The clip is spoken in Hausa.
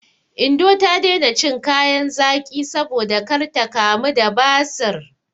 Indo ta daina cin kayan zaƙi saboda kar ta kamu da basir.